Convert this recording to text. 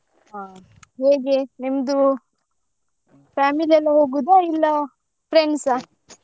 ಹಾ ಹೇಗೆ ನಿಮ್ದು family ಅವ್ರು ಹೋಗುದಾ ಇಲ್ಲಾ friends ಅ?